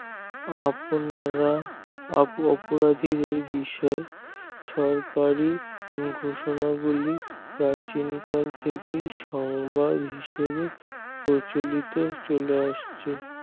আপনারা অপরাধীদের বিষয়ে সরকারি ঘোষণা গুলি প্রাচীন কাল থেকেই সংবাদ হিসাবেই প্রচলিত হয় আসছে